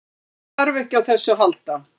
Hann þarf ekki á þessu að halda.